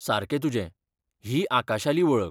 सारकें तुजें, ही आकाशाली वळख.